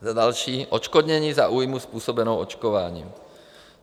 Za další - odškodnění za újmu způsobenou očkováním.